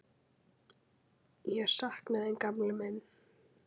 Ég sakna þín, gamli minn.